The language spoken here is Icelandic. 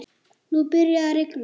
Nú byrjaði að rigna.